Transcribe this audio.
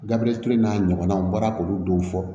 Gabiriyɛri ture n'a ɲɔgɔnnaw n bɔra k'olu dɔw fɔ